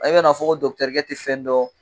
Ayi kana fɔ ko dɔkitɛrikɛ tɛ fɛn don.